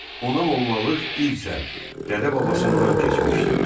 Ona mollalıq irsən, dədə-babasından keçmişdi.